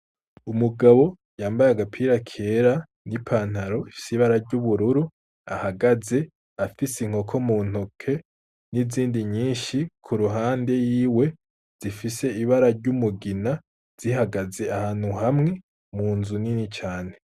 Umugabo yambaye agapira kera n' ipantaro y' ubururu ahagaze afise inkoko muntoke nizindi nyishi iruhande yiwe zifise ibara ry'umugina zihagaze ahantu hamwe munzu nini cane.